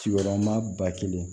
Sigiyɔrɔma ba kelen